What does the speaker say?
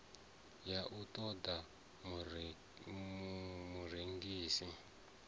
ya u ṱo ḓa murengisi